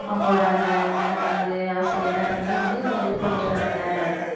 அவங்களோட அந்த என்னென்ன கனவு ஆசை எல்லாத்தையுமே வந்து இது பண்ணிடுறாங்க